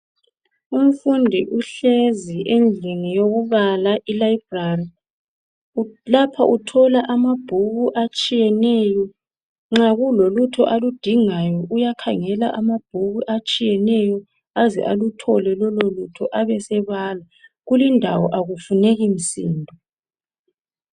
Umfundi uhlezi endlini yokubala i library. Lapho uthola amabhuku atshiyeneyo, nxa kulolutho aludingayo uyakhangela amabhuku atshiyeneyo, aze aluthole lolo lutho. Abesebala, kulindawo akufuneki msindo.